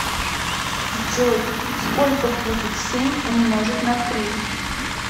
джой сколько будет семь умножить на три